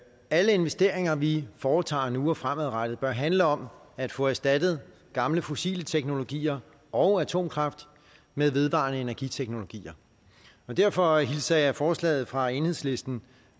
alle investeringer vi foretager nu og fremadrettet bør handle om at få erstattet gamle fossile teknologier og atomkraft med vedvarende energiteknologier derfor hilser jeg forslaget fra enhedslisten